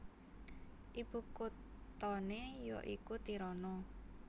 Ibukuthané ya iku Tirana